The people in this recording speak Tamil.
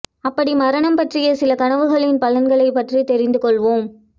அப்படி மரணம் பற்றிய சில கனவுகளின் பலன்களை பற்றி தெரிந்து கொள்வோம்